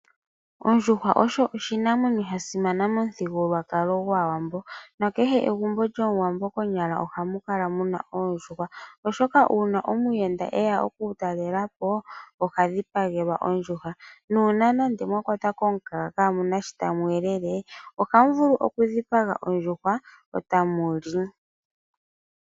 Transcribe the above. Ondjuhwa oyo oshimamwenyo sha simana momuthigululwakalo gwaawambo. Kehe egumbo lyomuwambo konyala ohamu kala muna oondjuhwa. Oshoka uuna omuyenda eya oku ku talelapo oha dhipagelwa ondjuhwa. Uuna mwa kwatwa komukaga kaamuna sho tamu elele . Ohamu vulu oku dhipaga ondjuhwa eta muli.